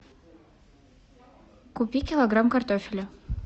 купи килограмм картофеля